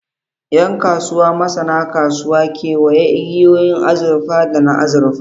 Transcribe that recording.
Yan kasuwa, masanan kasuwa, kewaya igiyoyin azurfa da na azurfa.